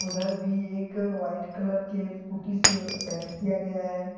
उधर भी एक वाइट कलर के पुट्टी से पेंट किया गया है।